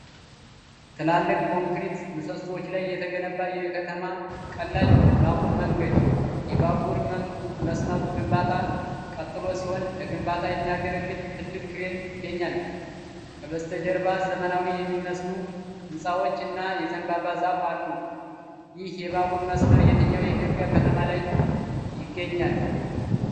ትላልቅ ኮንክሪት ምሰሶዎች ላይ የተገነባ የከተማ ቀላል ባቡር መንገድ። የባቡር መስመሩ ግንባታ ቀጥሎ ሲሆን ለግንባታ የሚያገለግል ትልቅ ክሬን ይገኛል። ከበስተጀርባ ዘመናዊ የሚመስሉ ሕንፃዎች እና የዘንባባ ዛፍ አሉ። ይህ የባቡር መስመር የትኛው የኢትዮጵያ ከተማ ላይ ይገኛል?